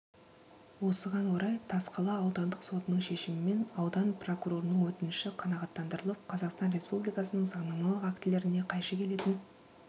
осыған орай тасқала аудандық сотының шешімімен аудан прокурорының өтініші қаңағаттандырылып қазақстан республикасының заңнамалық актілеріне қайшы келетін